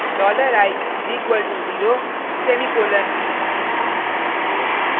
dollar i is equal to zero semicolon